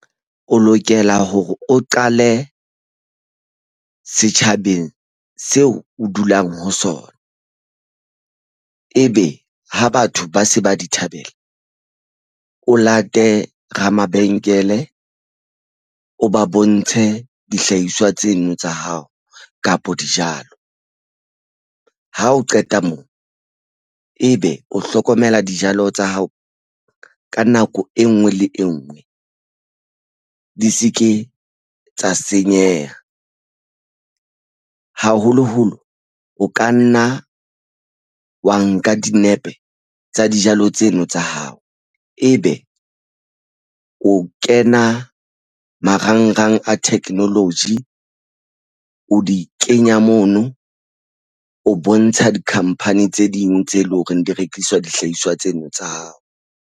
O lokela hore o qale setjhabeng seo o dulang ho sona. Ebe ha batho ba se ba di thabela o late ramabenkele o ba bontshe dihlahiswa tsena tsa hao kapa dijalo. Ha o qeta moo ebe o hlokomela dijalo tsa hao ka nako e nngwe le e nngwe di se ke tsa senyeha haholoholo o ka nna wa nka dinepe tsa dijalo tseno tsa hao ebe o kena marangrang a technology, o di kenya mono o bontsha dikhampani tse ding tse leng hore di rekiswa dihlahiswa tsena tsa hao.